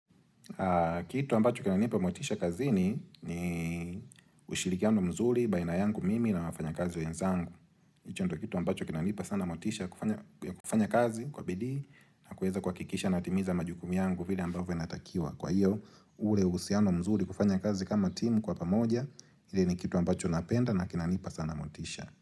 Kitu ambacho kinanipa motisha kazini ni ushirikiano mzuri baina yangu mimi na wafanyakazi wenzangu hicho ndio kitu ambacho kinanipa sana motisha kufanya kazi kwa bidii na kuweza kuhakikisha natimiza majukumu yangu vile ambavyo inatakiwa Kwa hiyo ule uhusiano mzuri kufanya kazi kama timu kwa pamoja ili ni kitu ambacho napenda na kinanipa sana motisha.